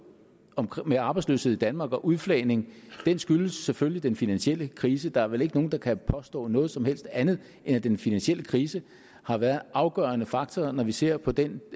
med arbejdsløshed i danmark og udflagning skyldtes selvfølgelig den finansielle krise der er vel ikke nogen der kan påstå noget som helst andet end at den finansielle krise har været en afgørende faktor når vi ser på den